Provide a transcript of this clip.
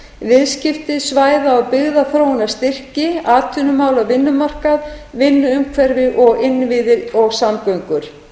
viðskipti svæða og byggðaþróunarstyrki atvinnumál og vinnumarkað vinnuumhverfi og innviði og samgöngur